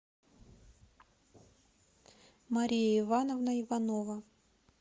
мария ивановна иванова